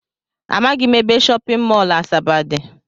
Amaghị m ebe shọpịn mọl Asaba dị